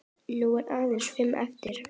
Nú eru aðeins fimm eftir.